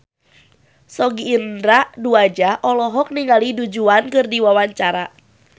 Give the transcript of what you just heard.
Sogi Indra Duaja olohok ningali Du Juan keur diwawancara